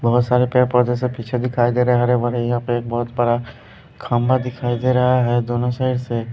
बहुत सारे पेड़ पौधे से पीछे दिखाई दे रहे हैं हरे भरे यहां पे एक बहुत बड़ा खंभा दिखाई दे रहा है दोनों साइड से --